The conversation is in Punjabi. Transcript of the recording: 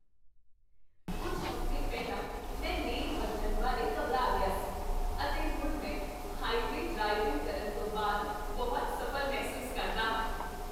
ਕੁੱਝ ਹਫ਼ਤੇ ਪਹਿਲਾਂ, ਮੈਂ ਲੇਨ ਬਦਲਣ ਬਾਰੇ ਘਬਰਾ ਗਿਆ ਸੀ, ਅਤੇ ਹੁਣ ਮੈਂ ਹਾਈਵੇਅ ਡ੍ਰਾਈਵਿੰਗ ਕਰਨ ਤੋਂ ਬਾਅਦ ਬਹੁਤ ਸਫ਼ਲ ਮਹਿਸੂਸ ਕਰਦਾ ਹਾਂ!